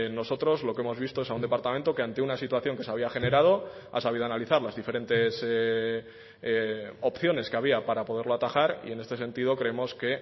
nosotros lo que hemos visto es a un departamento que ante una situación que se había generado ha sabido analizar las diferentes opciones que había para poderlo atajar y en este sentido creemos que